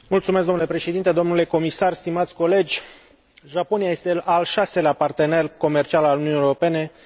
Japonia este al șaselea partener comercial al Uniunii, iar Uniunea al treilea partener comercial al Japoniei.